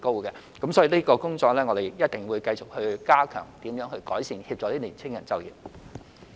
因此，我們一定會繼續加強有關工作，改善及協助年輕人就業。